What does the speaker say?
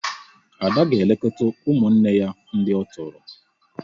Ada ga-elekọta ụmụnne ya ndị ọ tọrọ